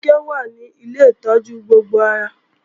Kíkẹ́ wà ní Ilé ìtọ́jú gbogbo ara